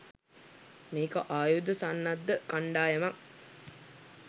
මේක ආයුධ සන්නද්ධ කණ්ඩායමක්.